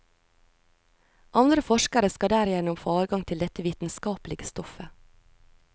Andre forskere skal derigjennom få adgang til dette vitenskapelige stoffet.